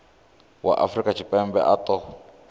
wa afrika tshipembe a ṱo